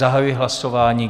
Zahajuji hlasování.